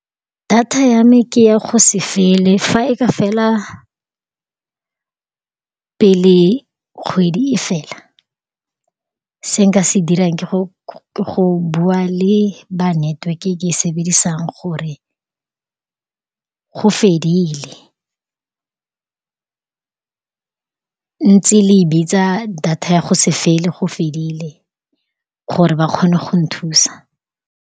Data ya me ke ya go se fele. Fa e ka fela pele kgwedi e fela, se nka se dirang ke go, ke go bua le ba neteweke e ke e sebedisang, gore go fedile, ntse le e bitsa data ya go se fele go fedile, gore ba kgone go nthusa.